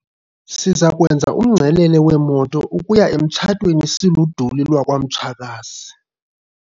Siza kwenza umngcelele weemoto ukuya emtshatweni siluduli lwakwamtshakazi.